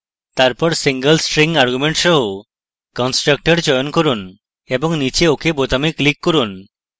তারপর single string argument সহ constructor চয়ন করুন এবং নীচে ok বোতামে click করুন